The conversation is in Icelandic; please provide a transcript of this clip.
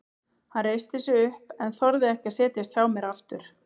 Hann reisti sig upp en þorði ekki að setjast hjá mér aftur.